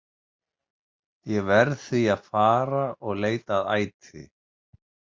Ég verð því að fara og leita að æti.